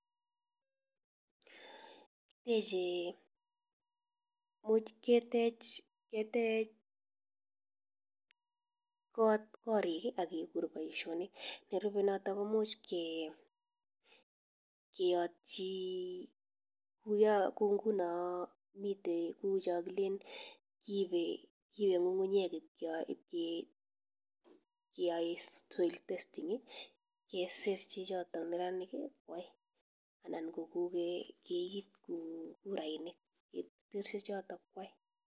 Yeche imuch ketech korik ak kekur boishonik, nerube noton kimuch keyotyi, ko ngunon miten tukuchon kileen ibee ngungunyek iib keyaen soil testing kosir chichoton neranik nyo kwai anan ko kiit kurainik iib choton kwai.